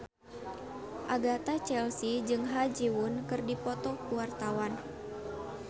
Agatha Chelsea jeung Ha Ji Won keur dipoto ku wartawan